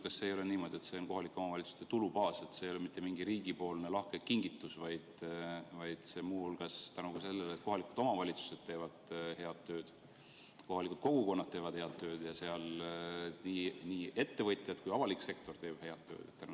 Aga kas ei ole mitte niimoodi, et see on kohalike omavalitsuste tulubaas – see ei ole mitte riigipoolne lahke kingitus, vaid see tuleneb muu hulgas sellest, et kohalikud omavalitsused teevad head tööd, kohalikud kogukonnad teevad head tööd, nii sealsed ettevõtjad kui ka avalik sektor teeb head tööd?